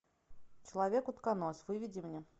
человек утконос выведи мне